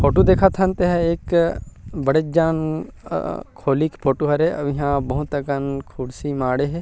Photo देखत हन तेहा एक बड़े जान अ खोली के फोटो हरे अऊ इहाँ बहुत अकन खुर्सी माड़हे हे।